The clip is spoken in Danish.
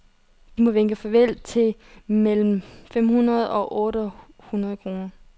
De må vinke farvel til mellem fem hundrede og otte hundrede kroner.